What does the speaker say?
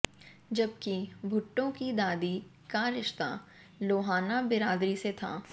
जबकि भुट्टो की दादी का रिश्ता लोहाना बिरादरी से था